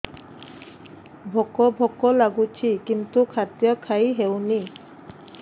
ଭୋକ ଭୋକ ଲାଗୁଛି କିନ୍ତୁ ଖାଦ୍ୟ ଖାଇ ହେଉନି